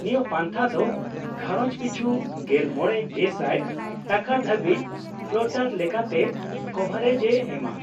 -ᱱᱤᱭᱟᱹ ᱯᱟᱱᱛᱷᱟ ᱫᱚ ᱜᱷᱟᱸᱨᱚᱡᱽ ᱯᱤᱪᱷᱩ ᱕᱐,᱐᱐᱐ ᱴᱟᱠᱟ ᱫᱷᱟᱹᱵᱤᱡ ᱯᱷᱞᱳᱴᱟᱨ ᱞᱮᱠᱟᱛᱮ ᱠᱚᱵᱷᱟᱨᱮᱡᱼᱮ ᱮᱢᱟ ᱾